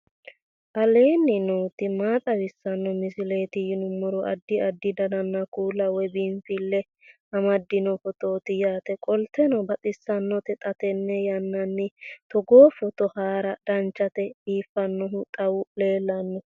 aleenni nooti maa xawisanno misileeti yinummoro addi addi dananna kuula woy biinfille amaddino footooti yaate qoltenno baxissannote xa tenne yannanni togoo footo haara danchate biifannnohu xawu leellanno